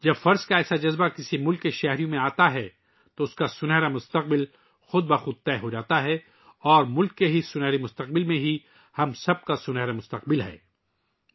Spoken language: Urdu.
جب کسی قوم کے شہریوں کے اندر فرض شناسی کا احساس پیدا ہوتا ہے تو اس کا سنہرا مستقبل خود بخود یقینی ہو جاتا ہے اور خود اس ملک کے سنہرے مستقبل میں ہم سب کا سنہرا مستقبل بھی مضمر ہے